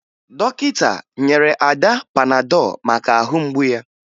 Dọkịta nyere Ada panadọ maka ahụ mgbu ya